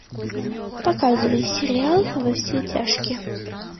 показывай сериал во все тяжкие